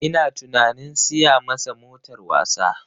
Ina tunanin siya masa motar wasa